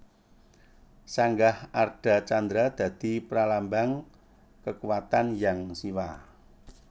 Sanggah Ardha Candra dadi pralambang kakuwatan Hyang Siwa